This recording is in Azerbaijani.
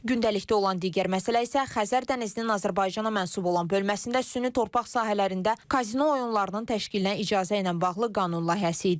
Gündəlikdə olan digər məsələ isə Xəzər dənizinin Azərbaycana mənsub olan bölməsində süni torpaq sahələrində kazino oyunlarının təşkilinə icazə ilə bağlı qanun layihəsi idi.